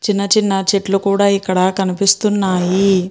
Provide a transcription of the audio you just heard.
చిన్న చిన్న చెట్లు కూడా ఇక్కడ కనిపిస్తున్నాయి.